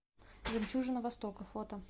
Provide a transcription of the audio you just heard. жемчужина востока фото